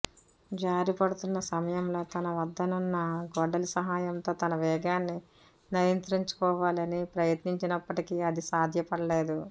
జారిపడుతున్న సమయంలో తన వద్దనున్న గొడ్డలి సహాయంతో తన వేగాన్ని నియంత్రిచుకోవాలని ప్రయత్నించినప్పటికి అది సాధ్యపడలేదు